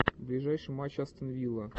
ближайший матч астон вилла